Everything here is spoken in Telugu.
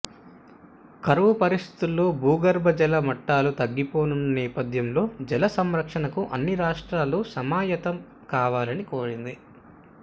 కరవు పరిస్థితుల్లో భూగర్భ జల మట్టాలు తగ్గిపోతున్న నేపథ్యంలో జల సంరక్షణకు అన్ని రాష్ట్రాలు సమాయత్తం కావాలని కోరింది